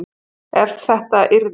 Ef þetta yrði.